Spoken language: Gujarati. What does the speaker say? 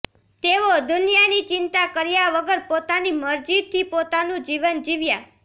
તેઓ દુનિયાની ચિંતા કર્યા વગર પોતાની મરજીથી પોતાનું જીવન જીવ્યા